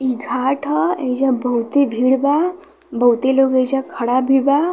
इ घाट ह। एहिजा बहोते भीड़ बा। बहोते लोग एहिजा खड़ा भी बा।